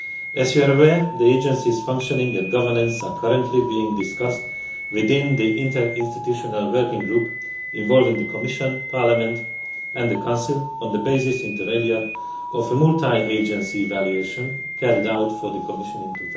As you are aware, the agencies' functioning and governance are currently being discussed within the interinstitutional working group involving the Commission, Parliament and the Council, on the basis, inter alia of a multi agency evaluation carried out for the Commission in